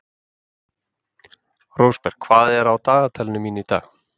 Rósberg, hvað er á dagatalinu mínu í dag?